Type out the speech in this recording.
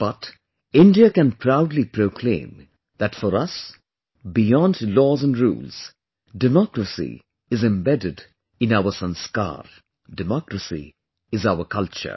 But, India can proudly proclaim that for us, beyond laws & rules, Democracy is embedded in our sanskar; Democracy is our culture